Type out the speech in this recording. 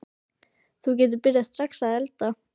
Þú getur byrjað strax að elda.